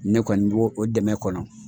Ne kɔni bo o dɛmɛ kɔnɔ.